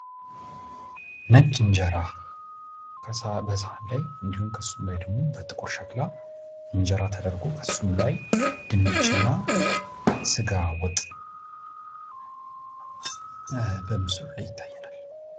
ነጭ እንጀራ ከሰሀን ላይ እንዲሁም ከሱ ላይ ደግሞ በጥቁር ሸክላ እንጀራ ተደርጎ ከእሱም ላይ ድንች እና ስጋ ወጥ በምስሉ ላይ ይታየናል።